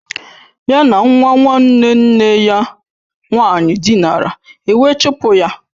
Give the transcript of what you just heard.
Ya na nwa nwanne nne ya nwaanyị dinara, ewe chụpụ ya